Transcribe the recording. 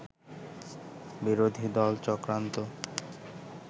বিরোধী দল চক্রান্ত